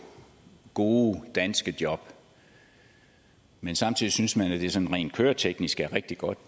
gode danske job men samtidig synes man at det her sådan rent køreteknisk er rigtig godt